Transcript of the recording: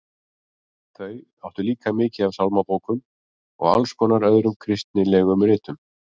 Þau áttu líka mikið af sálmabókum og alls konar öðrum kristilegum ritum.